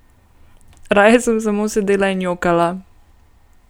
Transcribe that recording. Raje sem samo sedela in jokala.